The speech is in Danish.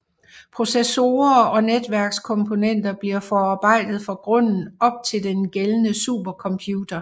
Processorer og netværkskomponenter bliver forarbejdet fra grunden op til den gældende supercomputer